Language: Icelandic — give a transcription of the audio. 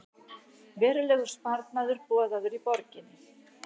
Verulegur sparnaður boðaður í borginni